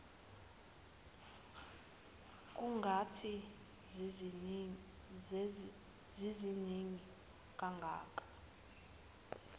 kungathi ziziningi kangaka